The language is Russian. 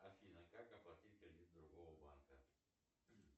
афина как оплатить кредит другого банка